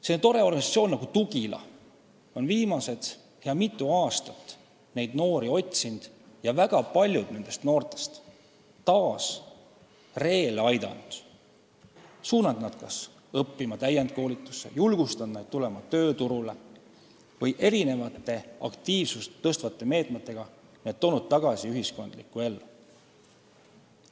Selline tore organisatsioon nagu Tugila on mitu head aastat neid noori otsinud ja väga paljud nendest taas ree peale aidanud – suunanud nad õppima või täienduskoolitusse, julgustanud neid tööturule tulema või toonud nad aktiivsust tõstvate meetmetega ühiskondlikku ellu tagasi.